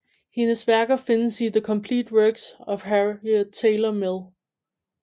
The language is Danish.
Hendes værker findes i The Complete Works of Harriet Taylor Mill